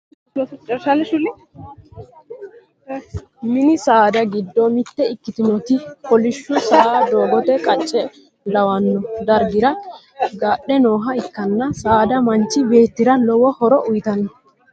mini saada giddo mitte ikkitinoti kolishsho saa doogote qacce lawanno dargira gadhe nooha ikkanna. saada manchi beettira lowo horo uyiitanno.